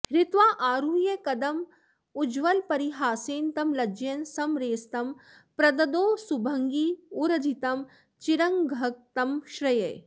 हृत्वाऽऽरुह्य कदम्बमुज्ज्वलपरीहासेन तं लज्जयन् स्मेरंस्तं प्रददौ सुभङ्गिमुरजित्तं चीरघङ्क्तं श्रये